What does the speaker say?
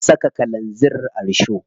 An saka kalanzir a risho.